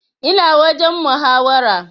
Ina wajen muhawara